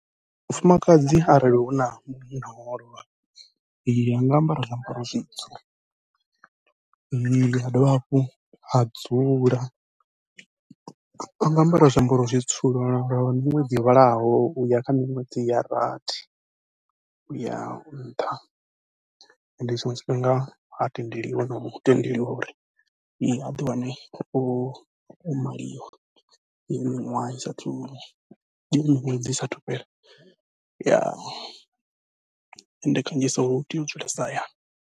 Mufumakadzi arali huna munna wawe o lovha anga ambara zwiambaro zwitsu, a dovha hafhu a dzula anga ambara zwiambaro zwitsu lwa miṅwedzi yo vhalaho uya kha miṅwedzi ya rathi, uya nṱha. Ende tshiṅwe tshifhinga ha tendeliwi nau tendeliwa uri e a ḓi wane o maliwa heyi miṅwaha isa athu heyi miṅwedzi isa athu fhela ende kanzhisa u tea u dzulesa hayani.